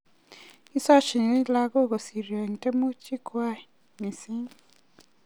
Kisochini lakok kosiryo eng tiemutik kwai mising